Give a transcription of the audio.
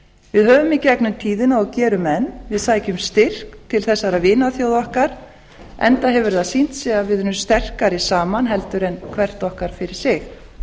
við höfum í gegnum tíðina og gerum enn við sækjum styrk til þessara vinaþjóða okkar enda hefur það sýnt sig að við erum sterkari saman en hvort okkar fyrir sig